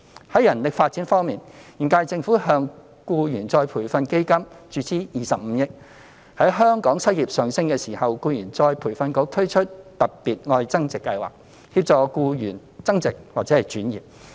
在人力發展方面，現屆政府向僱員再培訓基金注資25億元；在香港失業率上升時，僱員再培訓局推出"特別.愛增值"計劃，協助僱員增值或轉業。